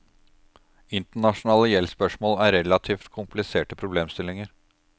Internasjonale gjeldsspørsmål er relativ kompliserte problemstillinger.